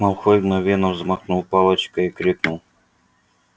малфой мгновенно взмахнул палочкой и крикнул